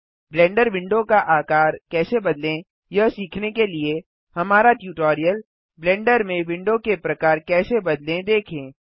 blender window का आकार कैसे बदलें यह सीखने के लिए हमारा ट्यूटोरियल -ब्लेंडर में विंडो के प्रकार कैसे बदलें देखें